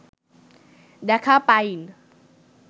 দেখা পাইন